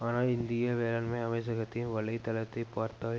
ஆனால் இந்திய வேளாண்மை அமைச்சகத்தின் வலை தளத்தை பார்த்தால்